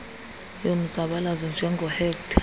yomzabalazo njengoo hector